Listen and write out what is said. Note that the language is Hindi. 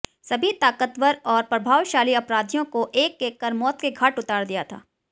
सभी ताकतवर और प्रभावशाली अपराधियों को एक एक कर मौत के घाट उतार दिया था